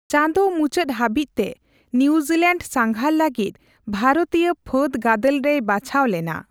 ᱪᱟᱸᱫ ᱢᱩᱪᱟᱹᱫ ᱦᱟᱹᱵᱤᱪᱛᱮ ᱱᱤᱣᱡᱤᱞᱮᱱᱰ ᱥᱟᱸᱜᱷᱟᱨ ᱞᱟᱹᱜᱤᱫ ᱵᱷᱟᱨᱚᱛᱤᱭᱚ ᱯᱷᱟᱹᱫᱜᱟᱫᱮᱞ ᱨᱮᱭ ᱵᱟᱪᱷᱟᱣ ᱞᱮᱱᱟ ᱾